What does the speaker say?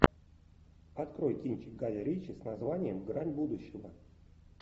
открой кинчик гая ричи с названием грань будущего